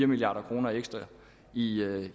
milliard kroner ekstra i